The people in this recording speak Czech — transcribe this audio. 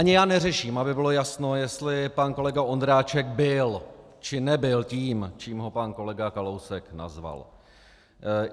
Ani já neřeším, aby bylo jasno, jestli pan kolega Ondráček byl, či nebyl tím, čím ho pan kolega Kalousek nazval.